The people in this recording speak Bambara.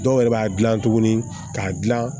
Dɔw yɛrɛ b'a gilan tuguni k'a gilan